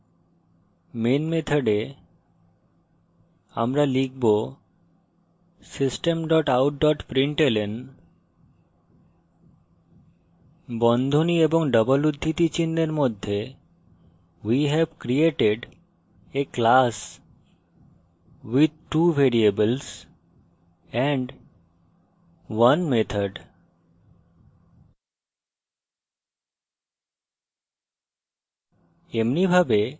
এখন main method আমরা লিখব system dot out dot println বন্ধনী ও double উদ্ধৃতি চিনহের মধ্যে we have created a class with two variables and 1 method